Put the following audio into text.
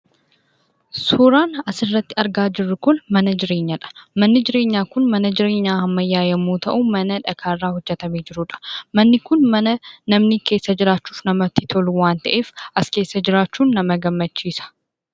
Suuraan asirratti argaa jirru kun mana jireenyaa dha. Manni jireenyaa kun mana jireenyaa ammayyaa yommuu ta'u, mana dhagaa irraa hojjetamee jiruudha. Manni kun mana namni keessa jiraachuuf namatti tolu waan ta'eef, as keessa jiraachuun nama gammachiisa.